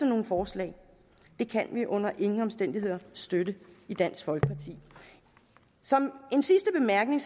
nogle forslag det kan vi under ingen omstændigheder støtte i dansk folkeparti som en sidste bemærkning